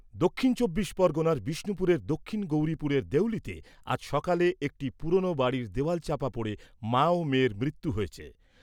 দক্ষিণ চব্বিশ পরগণার বিষ্ণুপুরের দক্ষিণ গৌরিপুরের দেউলিতে আজ সকালে একটি পুরনো বাড়ির দেওয়াল চাপা পড়ে মা ও মেয়ের মৃত্যু হয়েছে।